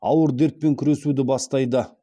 ауыр дертпен күресуді бастайды